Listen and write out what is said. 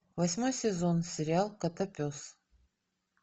восьмой сезон сериал котопес